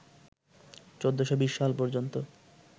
১৪২০ সাল পর্যন্ত